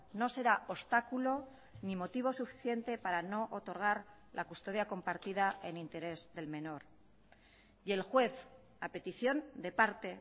no será obstáculo ni motivo suficiente para no otorgar la custodia compartida en interés del menor y el juez a petición de parte